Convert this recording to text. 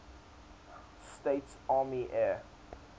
states army air